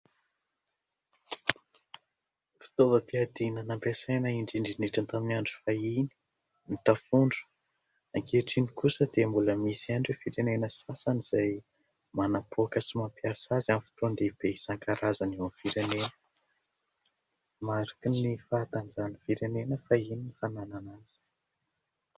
Fitaovam-piadiana nampiasaina indrindraindrindra tamin'ny andro fahiny ny tafondro, ankehitriny kosa dia mbola misy ihany ireo firenena sasany, izay manapoaka sy mampiasa azy amin'ny fotoan- dehibe isan-karazany eo amin'ny firenena ; mariky ny fahatanjahan'ny firenena fahiny ny fananana azy.